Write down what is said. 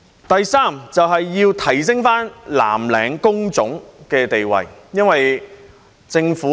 第三，要提升藍領工種的地位。